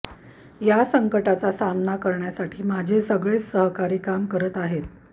त्या संकटाचा सामना करण्यासाठी माझे सगळेच सहकारी काम करत आहेत